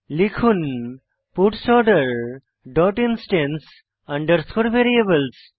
লিখুন parts order dot instance underscore variables